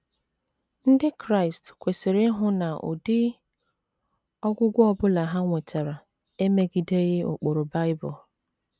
Ndị Kraịst kwesịrị ịhụ na ụdị ọgwụgwọ ọ bụla ha nwetara emegideghị ụkpụrụ Bible.